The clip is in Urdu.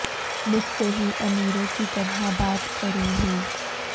مجھ سے ہی امیروں کی طرح بات کرو ہو